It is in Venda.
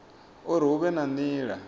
uri hu vhe na nila